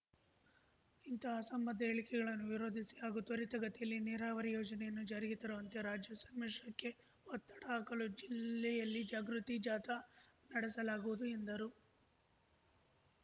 ಇಂತಹ ಅಸಂಬದ್ಧ ಹೇಳಿಕೆಗಳನ್ನು ವಿರೋಧಿಸಿ ಹಾಗೂ ತ್ವರಿತಗತಿಯಲ್ಲಿ ನೀರಾವರಿ ಯೋಜನೆಯನ್ನು ಜಾರಿಗೆ ತರುವಂತೆ ರಾಜ್ಯ ಸಮ್ಮಿಶ್ರಕ್ಕೆ ಒತ್ತಡ ಹಾಕಲು ಜಿಲ್ಲೆಯಲ್ಲಿ ಜಾಗೃತಿ ಜಾಥಾ ನಡೆಸಲಾಗುವುದು ಎಂದರು